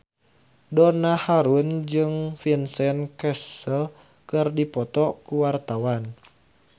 Donna Harun jeung Vincent Cassel keur dipoto ku wartawan